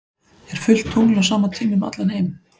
er fullt tungl á sama tíma um allan heim